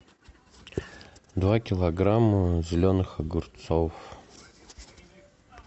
два килограмма зеленых огурцов